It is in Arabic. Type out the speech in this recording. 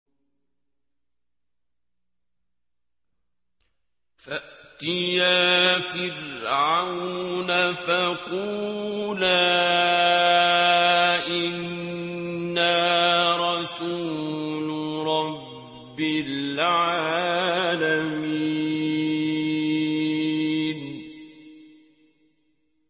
فَأْتِيَا فِرْعَوْنَ فَقُولَا إِنَّا رَسُولُ رَبِّ الْعَالَمِينَ